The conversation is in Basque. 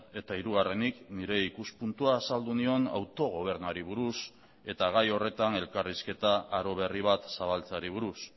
eta hirugarrenik nire ikuspuntua azaldu nion autogobernuari buruz eta gai horretan elkarrizketa aro berri bat zabaltzeari buruz